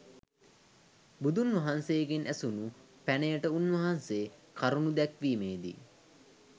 බුදුන් වහන්සේගෙන් ඇසූ පැනයට උන්වහන්්සේ කරුණු දැක්වීමේදී